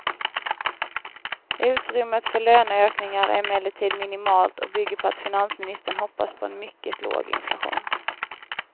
Utrymmet för löneökningar är emellertid minimalt och bygger på att finansministern hoppas på en mycket låg inflation.